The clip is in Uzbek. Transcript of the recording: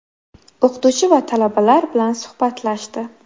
O‘qituvchi va talabalar bilan suhbatlashdi.